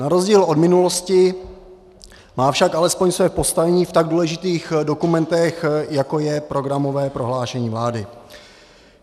Na rozdíl od minulosti má však alespoň své postavení v tak důležitých dokumentech, jako je programové prohlášení vlády.